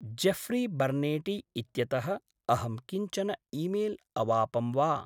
Jeffrey बर्नेटि इत्यतः अहं किञ्चन ईमेल् अवापं वा?